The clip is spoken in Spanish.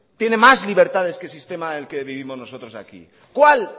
tiene más libertades que el sistema en el que vivimos nosotros aquí cuál